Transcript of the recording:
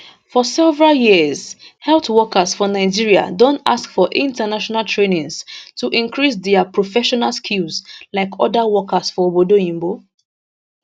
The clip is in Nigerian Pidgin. for several years health workers for nigeria don ask for international trainings to increase dia professional skills like oda workers for obodo oyinbo